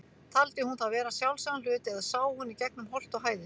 Taldi hún það vera sjálfsagðan hlut, eða sá hún í gegnum holt og hæðir?